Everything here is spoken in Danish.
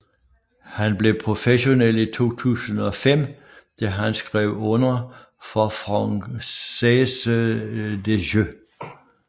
Han blev professionel i 2005 da han skrev under for Française des Jeux